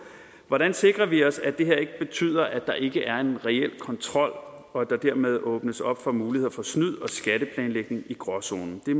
hvordan sikrer vi os at det her ikke betyder at der ikke er en reel kontrol og at der dermed åbnes op for muligheder for snyd og skatteplanlægning i gråzonen det